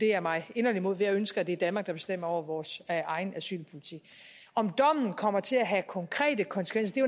jeg meget inderligt imod for jeg ønsker at det er danmark der bestemmer over vores egen asylpolitik om dommen kommer til at have konkrete konsekvenser er